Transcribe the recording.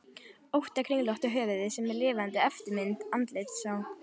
ótta kringlótta höfuð sem er lifandi eftirmynd andlitsins á